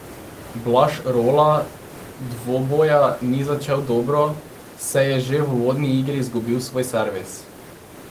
Blaž Rola dvoboja ni začel dobro, saj je že v uvodni igri izgubil svoj servis.